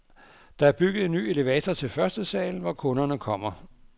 Der er bygget en ny elevator til førstesalen, hvor kunderne kommer.